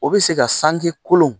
O bɛ se ka sangi kolon